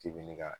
K'i bi ne ka